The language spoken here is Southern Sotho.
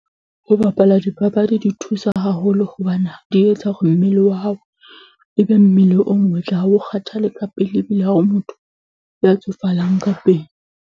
Ho bapala dipapadi di thusa haholo hobane di etsa hore mmele wa hao ebe mmele o motle. Ha o kgathale ka pele, ebile ha ho motho ya tsofalang ka pele.